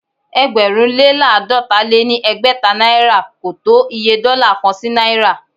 ẹgbẹ̀rún lé láàdọ́ta lé ní ẹgbẹ́ta náìrà ko tó Iye dọ́là kan sí náìrà.